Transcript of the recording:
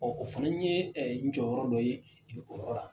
o fana ye n jɔyɔrɔ dɔ ye o yɔrɔ la.